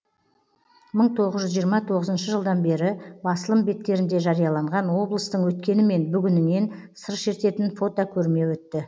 мың тоғыз жүз жиырма тоғызыншы жылдан бері басылым беттерінде жарияланған облыстың өткені мен бүгіненен сыр шертетін фотокөрме өтті